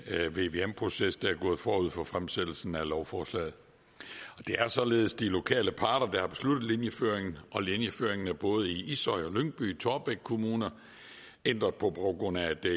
vvm proces der er gået forud for fremsættelsen af lovforslaget det er således de lokale parter der har besluttet linjeføringen og linjeføringen er både i ishøj og lyngby taarbæk kommuner ændret på på grund af at der